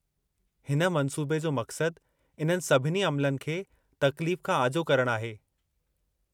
हिन मंसूबे जो मक़्सदु इन्हनि सभिनी अम्लनि खे तकलीफ़ खां आजो करणु आहे।